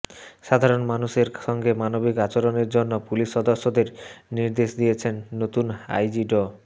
সাধারণ মানুষের সঙ্গে মানবিক আচরণের জন্য পুলিশ সদস্যদের নির্দেশ দিয়েছেন নতুন আইজি ড